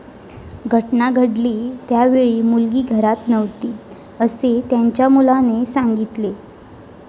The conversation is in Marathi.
घटना घडली त्यावेळी मुलगी घरात नव्हती, असे त्यांच्या मुलाने सांगितले.